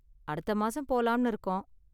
அடுத்த மாசம் போலாம்னு இருக்கோம்.